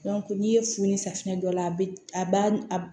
n'i ye funu safunɛ dɔ la a bi a b'a